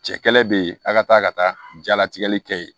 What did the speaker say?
Cɛ kɛlɛ be yen a ka taa ka taa jalatigɛ kɛ